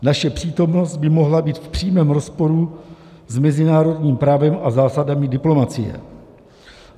Naše přítomnost by mohla být v přímém rozporu s mezinárodním právem a zásadami diplomacie.